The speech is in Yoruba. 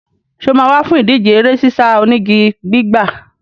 Ǹjẹ́ wà á wá fún ìdíje eré sísá onígi gbígbà?